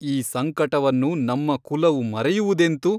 ಈ ಸಂಕಟವನ್ನು ನಮ್ಮ ಕುಲವು ಮರೆಯುವುದೆಂತು?